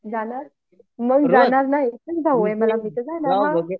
मग जाणार नाही एकच भाऊ आहे मला मी तर जाणार हां